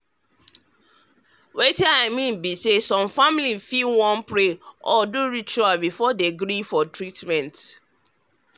wetin i mean be say some families fit wan pray or do ritual before dem gree for treatment.